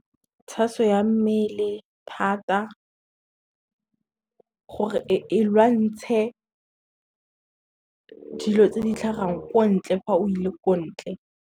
Tshaso ya mmele thata, gore e lwantshe dilo tse di tlhagang ko ntle fa o ile ko ntle.